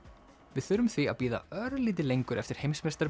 við þurfum því að bíða örlítið lengur eftir